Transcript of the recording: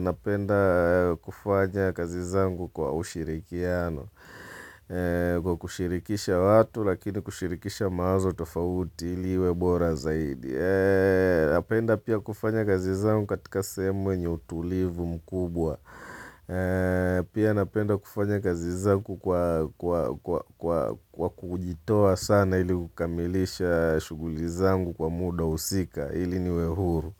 napenda kufanya kazi zangu kwa ushirikiano Kwa kushirikisha watu lakini kushirikisha mawazo tofauti ili iwe bora zaidi Napenda pia kufanya kazi zangu katika sehemu yenye utulivu mkubwa Pia napenda kufanya kazi zangu kwa kujitoa sana ili kukamilisha shughuli zangu kwa muda husika ili niwe huru.